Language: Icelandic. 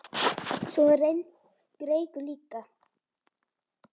Svo er reykur líka.